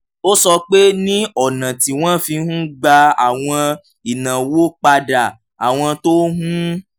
ó sọ pé ní ọ̀nà tí wọ́n fi ń gba àwọn ìnáwó padà àwọn tó ń